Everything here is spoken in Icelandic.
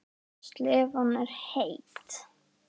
Slefan er heit.